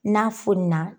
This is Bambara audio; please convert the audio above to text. N'a fonina